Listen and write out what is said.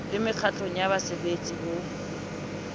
le mekgatlong ya baserbetsi ho